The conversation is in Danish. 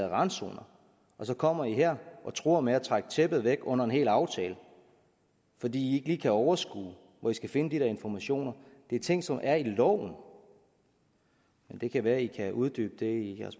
randzonerne og så kommer i her og truer med at trække tæppet væk under en hel aftale fordi i kan overskue hvor i skal finde de der informationer det er ting som er i loven men det kan være at i kan uddybe det